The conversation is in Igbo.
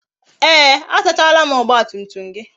Ee, a sachala m ọgba tum tum gị